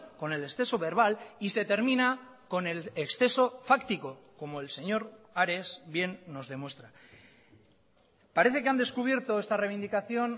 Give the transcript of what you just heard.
con el exceso verbal y se termina con el exceso fáctico como el señor ares bien nos demuestra parece que han descubierto esta reivindicación